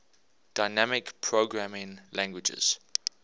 dynamic programming languages